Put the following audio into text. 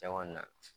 Cɛn kɔni na